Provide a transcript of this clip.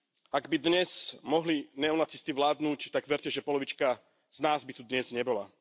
Ak by dnes mohli neonacisti vládnuť, tak verte, že polovička z nás by tu dnes nebola.